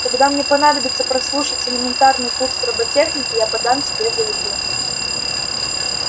когда мне понадобится прослушать элементарный курс роботехники я подам тебе заявление